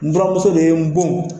N buranmuso de ye n bon